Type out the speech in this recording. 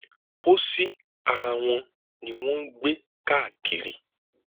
pọsí ara wọn ni wọn ń gbé káàkiri